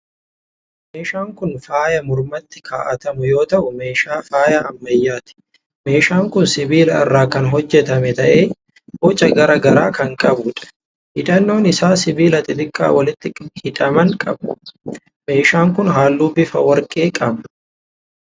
Kun meeshaa faayaa mormatti kaa'atamu yoo ta'u, meeshaa faayaa ammayyaati. Meeshaan kun sibiila irraa kan hojjetame ta'ee, boca garaa garaa kan qabuudha. Hidhannoon isaa sibiila xixiqqaa walitti hidhaman qaba. Meeshaan kun halluu bifa warqee qaba.